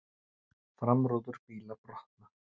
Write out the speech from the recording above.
Framrúður bíla brota